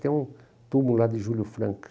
Tem um túmulo lá de Júlio Franco.